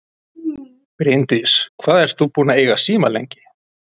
Bryndís: Hvað ert þú búinn að eiga síma lengi?